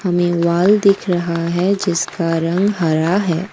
हमें वाल दिख रहा है जिसका रंग हरा है।